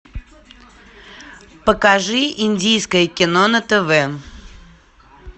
покажи индийское кино на тв